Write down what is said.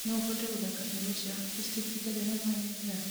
no ũhote gũthaaka nyĩmbo cia akustisk itarĩ na maanĩrĩra